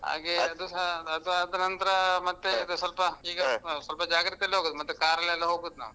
ಹಾಗೆ. ಅದುಸ ಅದ್ ಆದ. ನಂತ್ರ. ಈಗ ಸ್ವಲ್ಪ. ಆ ಸ್ವಲ್ಪ ಜಾಗ್ರತೆ ಅಲ್ ಹೋಗುದು ನಾವು, ಮತ್ತೆ car ಅಲ್ಲ್ ಎಲ್ಲಾ ಹೋಗುದ್ ನಾವು.